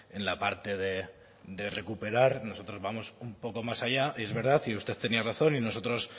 en la parte de recuperar nosotros vamos un poco más allá es verdad y usted tenía razón y nosotros